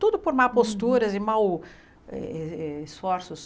Tudo por má postura e maus eh esforços.